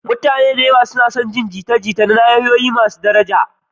Mutane da yawa suna son su kula da mama, jita-jita na tsakanin nahiyoyinta suna da daraja.